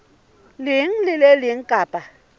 leng le le leng kapa